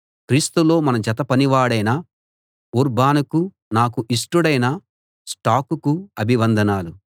క్రీస్తులో మన జత పనివాడైన ఊర్బానుకు నాకు ఇష్టుడైన స్టాకుకు అభివందనాలు